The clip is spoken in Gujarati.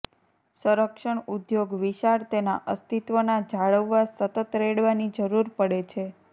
સંરક્ષણ ઉદ્યોગ વિશાળ તેના અસ્તિત્વના જાળવવા સતત રેડવાની જરૂર પડે છે